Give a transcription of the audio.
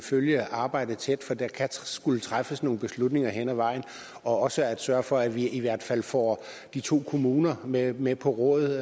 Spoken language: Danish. følge arbejdet tæt for der kan skulle træffes nogle beslutninger hen ad vejen og også sørger for at vi i hvert fald får de to kommuner med med på råd